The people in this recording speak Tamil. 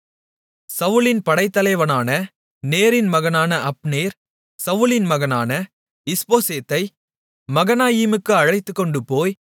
சவுலின் படைத்தலைவனான நேரின் மகனான அப்னேர் சவுலின் மகனான இஸ்போசேத்தை மகனாயீமுக்கு அழைத்துக்கொண்டுபோய்